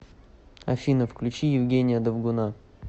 афина включи евгения довгуна